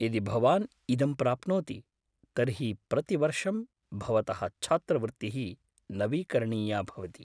यदि भवान् इदं प्राप्नोति तर्हि प्रतिवर्षम् भवतः छात्रवृत्तिः नवीकरणीया भवति।